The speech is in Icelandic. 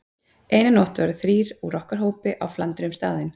Eina nótt voru þrír úr okkar hópi á flandri um staðinn.